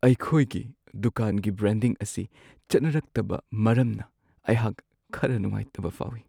ꯑꯩꯈꯣꯏꯒꯤ ꯗꯨꯀꯥꯟꯒꯤ ꯕ꯭ꯔꯥꯟꯗꯤꯡ ꯑꯁꯤ ꯆꯠꯅꯔꯛꯇꯕ ꯃꯔꯝꯅ ꯑꯩꯍꯥꯛ ꯈꯔ ꯅꯨꯡꯉꯥꯏꯇꯕ ꯐꯥꯎꯋꯤ ꯫